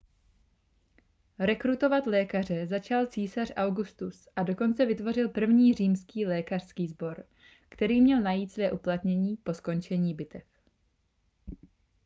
rekrutovat lékaře začal císař augustus a dokonce vytvořil první římský lékařský sbor který měl najít své uplatnění po skončení bitev